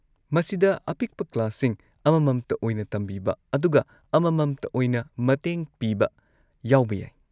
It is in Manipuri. ꯃꯁꯤꯗ ꯑꯄꯤꯛꯄ ꯀ꯭ꯂꯥꯁꯁꯤꯡ, ꯑꯃꯃꯝꯇ ꯑꯣꯏꯅ ꯇꯝꯕꯤꯕ, ꯑꯗꯨꯒ ꯑꯃꯃꯝꯇ ꯑꯣꯏꯅ ꯃꯇꯦꯡ ꯄꯤꯕ ꯌꯥꯎꯕ ꯌꯥꯏ꯫